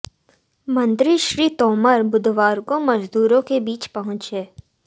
मंत्री श्री तोमर बुधवार को मजदूरों के बीच पहुंचे